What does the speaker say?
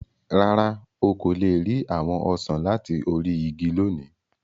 Rárá, o ko le ri awọn osan lati ori igi loni.